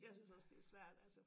Jeg synes også det er svært altså